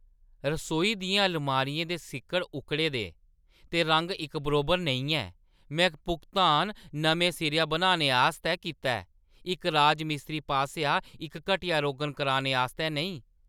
रसोई दियें अलमारियें दे सिक्कड़ उक्कड़े दे, ते रंग इक बरोबर नेईं ऐ। में भुगतान नमें सिरेआ बनाने आस्तै कीता ऐ, इक राजमिस्त्री पासेआ इक घटिया रोगन कराने आस्तै नेईं!